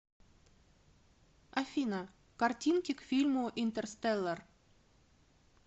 афина картинки к фильму интерстеллар